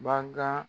Bakan